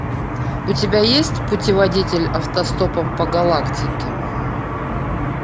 у тебя есть путеводитель автостопом по галактике